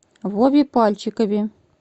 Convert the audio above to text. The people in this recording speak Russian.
вове пальчикове